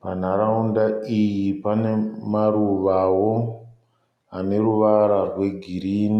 panharaunda iyi pane maruvawo ane ruvara rwe green.